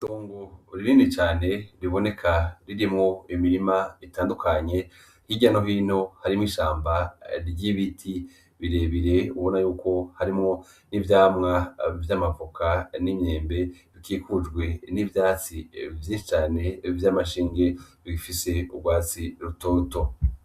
Tungu uririni cane riboneka ririmwo imirima itandukanye k'iryano hino harimwo ishamba ry'ibiti birebire ubona yuko harimwo n'ivyamwa vy'amavuka n'imyembe bikikujwe n'ivyatsi vyinshi cane vy'amashinge gifise urwatsi rutoto.